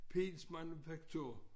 Pihls manufaktur